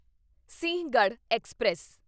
Sinhagad express